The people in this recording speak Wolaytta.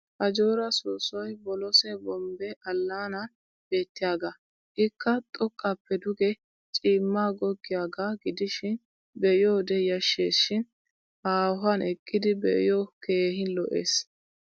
Ajjoora soossoy boloose bombbe allaanan beettiyaagaa. Ikka xoqqaappe duge ciimmaa goggiyaagaa gidishin be'iyoode yashshes shin haahuwan eqqidi be'iyoo keehin lo'es.